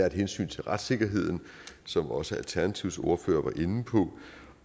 et hensyn til retssikkerheden som også alternativets ordfører var inde på